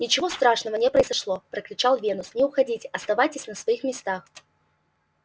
ничего страшного не произошло прокричал венус не уходите оставайтесь на своих местах